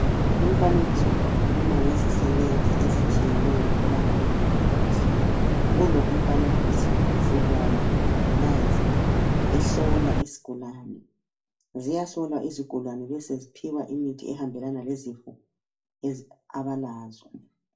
Lumfanekiso ukhuluma ngezisebenzi ezitshiyeneyo kubangabezempilakahle, kulo umfanekiso sibona umongikazi ehlola isigulane, ziyahlolwa izigulane beseziphiwa imithi ehambelana lezifo abalazo